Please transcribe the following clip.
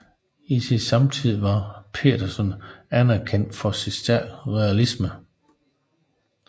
I sin samtid var Petersen anerkendt for sin stærke realisme